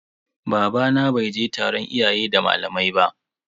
Babana bai je taron iyaye da malamai ba.